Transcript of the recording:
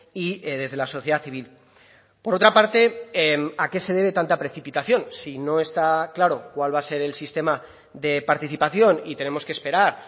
y desde la sociedad civil por otra parte a qué se debe tanta precipitación si no está claro cuál va a ser el sistema de participación y tenemos que esperar